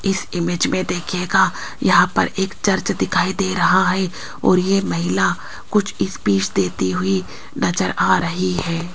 इस इमेज में देखीयेगा यहां पर एक चर्च दिखाई दे रहा है और ये महिला कुछ स्पिच देती हुई नजर आ रही है।